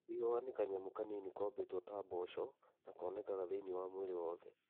Ihuha nĩ kanyamũ kanini kombĩtwo ta mboco na konekaga thĩinĩ wa mwĩrĩ wothe.